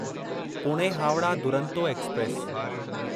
Pune Howrah Duronto express